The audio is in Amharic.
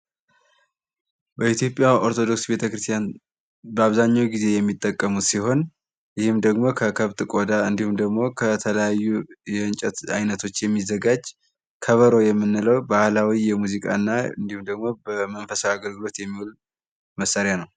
በኢትዮጲያ ኦርቶዶክስ ተዋህዶ በአብዛኛው ጊዜ የምጠቀሙት ሲሆን ይህም ደሞ ከከብት ቆዳ እንዲሁም ደሞ ከተለያዩ የእንጨት አይነቶች የሚዘጋጅ ከበሮ የምንለው ባህላዊ የሙዚቃ እና እንዲሁም ለመንፈሳዊ አገልግሎት የሚውል መሳሪያ ነው።